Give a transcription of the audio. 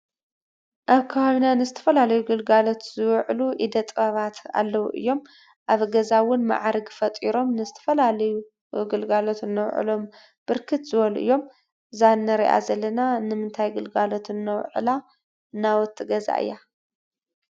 አብ ከባቢና ንዝተፈላለዩ ግልጋሎት ዝውዕሉ ኢደ ጥበባት አለው እዮም። አብ ገዛ እውን ማዕርግ ፈጢሮም ንዝተፈላለዩ ግልጋሎት እነውዕሎም ብርክት ዝበሉ እዮም። እዛ እንሪአ ዘለና ንምንታይ ግልጋሎት እነውዕላ ናውቲ ገዛ እያ?